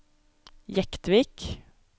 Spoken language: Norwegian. Jektvik